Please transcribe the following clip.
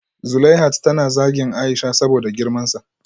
Zuleihat tana zagin Aisha saboda girmansa